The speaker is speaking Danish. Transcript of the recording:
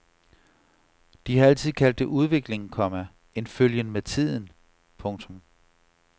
De har altid kaldt det udvikling, komma en følgen med tiden. punktum